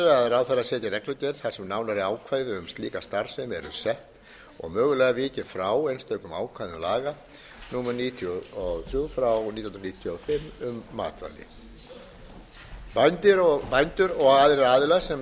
ráðherra setji reglugerð þar sem nánari ákvæði um slíka starfsemi eru sett og mögulega vikið frá einstökum ákvæðum laga númer níutíu og þrjú nítján hundruð níutíu og fimm um matvæli bændur og aðrir aðilar sem